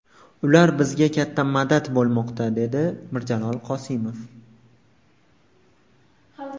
Ular bizga katta madad bo‘lmoqda”, dedi Mirjalol Qosimov.